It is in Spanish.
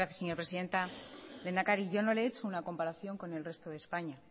gracias señora presidenta lehendakari yo no le he hecho una comparación con el resto de españa